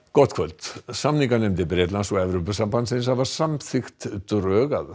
gott kvöld samninganefndir Bretlands og Evrópusambandsins hafa samþykkt drög að